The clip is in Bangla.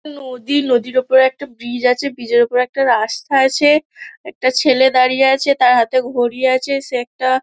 নদী নদীর ওপর একটা ব্রিজ আছে । ব্রিজ -এর ওপর একটা রাস্তা আছে । একটা ছেলে দাঁড়িয়ে তার হাতে ঘড়ি আছে। সে একটা--